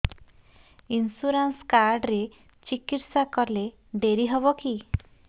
insurance card ରେ ଚିକିତ୍ସା କଲେ ଡେରି ହବକି